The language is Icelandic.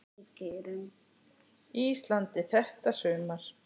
Íslandi þetta sumar.